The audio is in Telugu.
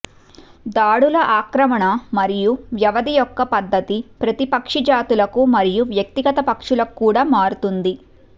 దాడుల ఆక్రమణ మరియు వ్యవధి యొక్క పధ్ధతి ప్రతి పక్షి జాతులకు మరియు వ్యక్తిగత పక్షులకు కూడా మారుతుంది